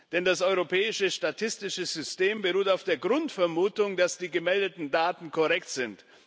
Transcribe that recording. Denn das europäische statistische System beruht auf der Grundvermutung, dass die gemeldeten Daten korrekt sind.